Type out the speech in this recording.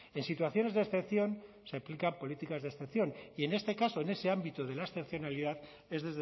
en situaciones de excepción se aplican políticas de excepción y en este caso en ese ámbito de la excepcionalidad es